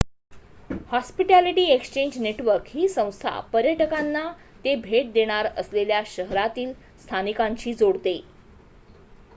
hospitality exchange network ही संस्था पर्यटकांना ते भेट देणार असलेल्या शहरांतील स्थानिकांशी जोडते